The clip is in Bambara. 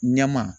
Ɲɛma